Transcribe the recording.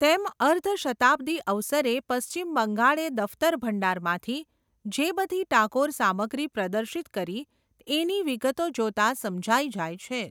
તેમ અર્ધ શતાબ્દી અવસરે પશ્ચિમ બંગાળે દફતર ભંડારમાંથી, જે બધી ટાગોર સામગ્રી પ્રદર્શિત કરી, એની વિગતો જોતાં સમજાય જાય છે.